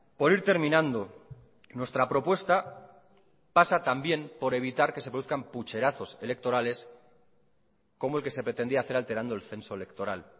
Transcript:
por ir terminando nuestra propuesta pasa también por evitar que se produzcan pucherazos electorales como el que se pretendía hacer alterando el censo electoral